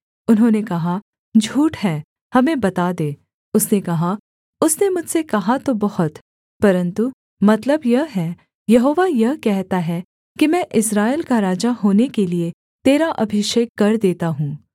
उन्होंने कहा झूठ है हमें बता दे उसने कहा उसने मुझसे कहा तो बहुत परन्तु मतलब यह है यहोवा यह कहता है कि मैं इस्राएल का राजा होने के लिये तेरा अभिषेक कर देता हूँ